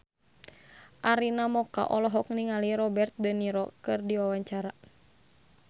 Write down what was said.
Arina Mocca olohok ningali Robert de Niro keur diwawancara